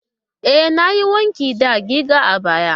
E, na yi wanki da giga a baya.